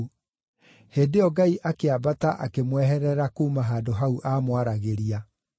Hĩndĩ ĩyo Ngai akĩambata akĩmweherera kuuma handũ hau aamwaragĩria.